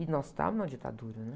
E nós estávamos na ditadura, né?